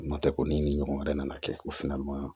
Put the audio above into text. N'o tɛ ko ni ɲɔgɔn wɛrɛ nana kɛ o fɛnɛ ma